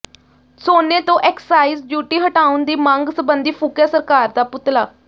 ਸੋਨੇ ਤੋਂ excise duty ਹਟਾਉਣ ਦੀ ਮੰਗ ਸਬੰਧੀ ਫੂਕਿਆ ਸਰਕਾਰ ਦਾ ਪੁਤਲਾ